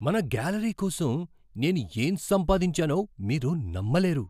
మన గ్యాలరీ కోసం నేను ఏం సంపాదించానో మీరు నమ్మలేరు!